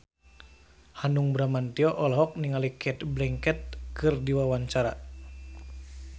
Hanung Bramantyo olohok ningali Cate Blanchett keur diwawancara